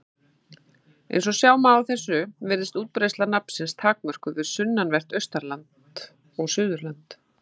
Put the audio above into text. Eins og sjá má af þessu virðist útbreiðsla nafnsins takmörkuð við sunnanvert Austurland og Suðurland.